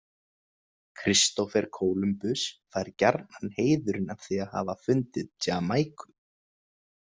Kristófer Kólumbus fær gjarnan heiðurinn af því að hafa fundið Jamaíku.